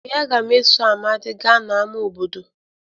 Ee, a ga m eso Amadi gaa n'ámá obodo